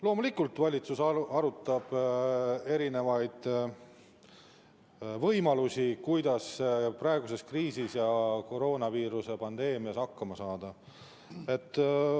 Loomulikult, valitsus arutab erinevaid võimalusi, kuidas praeguses kriisis ja koroonaviiruse pandeemia ajal hakkama saada.